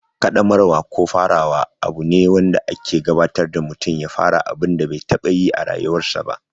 Ƙaddamarwa ko farawa abu ne wanda ake gabatar da mutum ya fara abun da bai taɓa yi a rayuwarsa ba.